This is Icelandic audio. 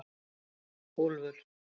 Úlfur